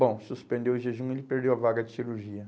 Bom, suspendeu o jejum, ele perdeu a vaga de cirurgia.